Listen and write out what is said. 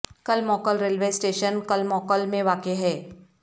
کل موکل railway station کل موکل میں واقع ہے